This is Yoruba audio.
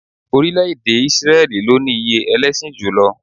Orílẹ̀-èdè Ísírẹ́lì ló ní iye ẹlẹ́sìn júù jùlọ